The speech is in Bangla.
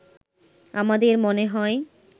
“আমাদের মনে হয়